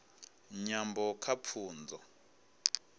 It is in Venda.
nyambo kha pfunzo